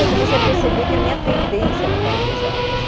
Eu comecei a perceber que a minha tendência era para as exatas.